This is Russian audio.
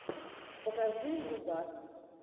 покажи нубас